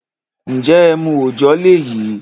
N jẹ́ ẹmu ọ̀jọ́ lèyí?